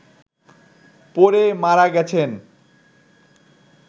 পড়ে মারা গেছেন